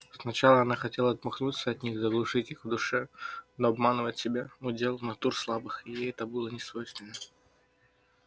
сначала она хотела отмахнуться от них заглушить их в душе но обманывать себя удел натур слабых и ей это было несвойственно